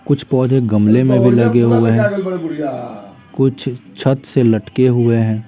कुछ पौधे गमले में भी लगे हुए हैं कुछ छत से लटके हुए हैं।